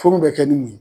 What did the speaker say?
Furu bɛ kɛ ni mun ye